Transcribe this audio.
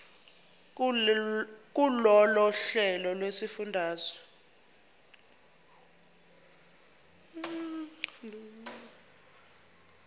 kulolu hlelo lwezifundo